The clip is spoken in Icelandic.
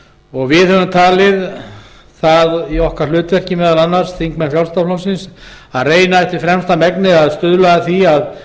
frjálslynda flokksins höfum talið það í okkar hlutverki meðal annars að reyna eftir fremsta megni að stuðla að því að